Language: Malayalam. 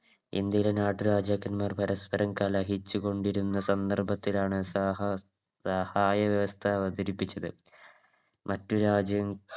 ഇന്ത്യയുടെ നാട്ടുരാജാക്കൻമ്മാർ പരസ്പരം കലഹിച്ചുകൊണ്ടിരുന്ന സന്ദർഭത്തിലാണ് സഹ സഹായ വ്യവസ്ഥ അവതരിപ്പിച്ചത് മറ്റു രാജ്യ